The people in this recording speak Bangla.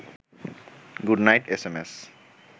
good night S M S